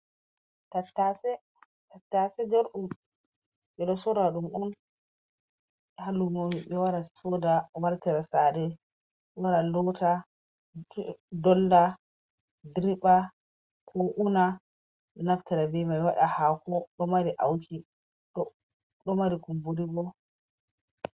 Tattase, tattase jar’um ɓe ɗo sora dum un ha lumo be wara soda wartira saare, wara lota, dolla, diriba. ko una naftira bi mai wada hako, ɗo mari auki ɗo mari kumburi bo.